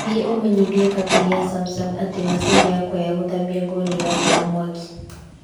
Thiĩ ũmenyithie kambũni ya Samsung atĩ macini yakwa ya ya gũthambia nguo nĩ ĩrakana mwaki.